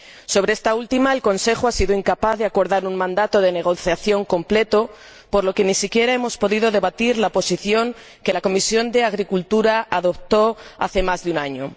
Sobre esta última, el Consejo ha sido incapaz de acordar un mandato de negociación completo, por lo que ni siquiera hemos podido debatir la posición que la Comisión de Agricultura y Desarrollo Rural adoptó hace más de un año